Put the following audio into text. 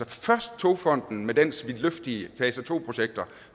først togfonden dk med dens vidtløftige fase to projekter